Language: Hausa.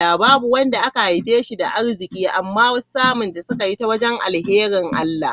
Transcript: Babu wanda aka haife shi da arziki, amma wasu samunta sukayi ta wurin alharin Allah.